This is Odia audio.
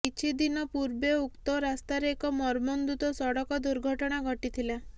କିଛିଦିନ ପୂର୍ବେ ଉକ୍ତ ରାସ୍ତାରେ ଏକ ମର୍ମନ୍ତୁଦ ସଡ଼କ ଦୁର୍ଘଟଣା ଘଟିଥିଲା